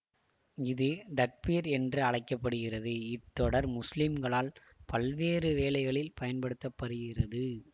இது தக்பிர் என்றும் அழைக்க படுகிறது இத் தொடர் முஸ்லிம்களால் பல்வேறு வேளைகளில் பயன்படுத்த படுகிறது